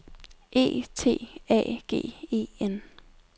E T A G E N